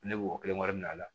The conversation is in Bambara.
Ne b'o kelen wari minɛ a la